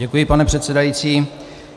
Děkuji, pane předsedající.